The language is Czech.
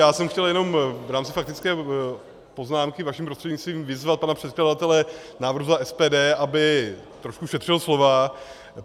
Já jsem chtěl jenom v rámci faktické poznámky vaším prostřednictvím vyzvat pana předkladatele návrhu za SPD, aby trošku šetřil slova.